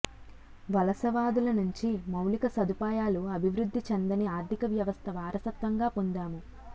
వలసవాదుల నుంచి మౌలిక సదుపాయాలు అభివృద్ధి చెందని ఆర్థికవ్యవస్థ వారసత్వంగా పొందాము